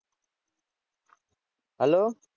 Hello